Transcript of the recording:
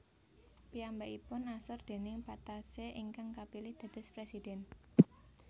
Piyambakipun asor déning Patassé ingkang kapilih dados presiden